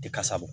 Tɛ kasa bɔ